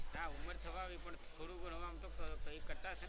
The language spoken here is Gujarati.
હા ઉમર થવા આવી પણ થોડું ઘણું આમ તો કઈ કરતાં હશે ને.